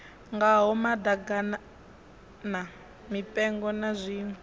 ngaho maḓaganana mipengo na zwiṋwe